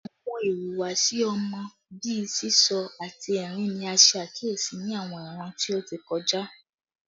Awọn ihuwasi ọmọ bii sisọ ati ẹrin ni a ṣe akiyesi ni awọn iran ti o ti kọja